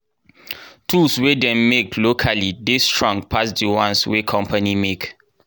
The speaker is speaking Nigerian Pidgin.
tools wey dem make locally dey strong pass di ones wey company make.